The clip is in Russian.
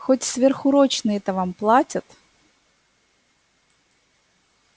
хоть сверхурочные-то вам платят